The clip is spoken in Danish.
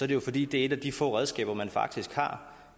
det jo fordi det er et af de få redskaber man faktisk har